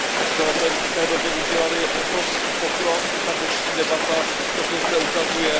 My jsme od té doby udělali obrovský pokrok, i tato dnešní debata to zde ukazuje.